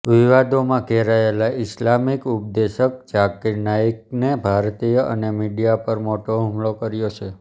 વિવાદોમાં ઘેરાયેલા ઈસ્લામિક ઉપદેશક ઝાકિર નાઈકને ભારતીય અને મીડિયા પર મોટો હુમલો કર્યો છે